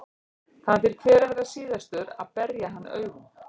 Það fer því hver að verða síðastur að berja hann augum.